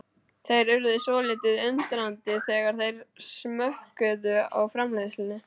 Þeir urðu svolítið undrandi þegar þeir smökkuðu á framleiðslunni.